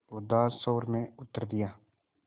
उदास स्वर में उत्तर दिया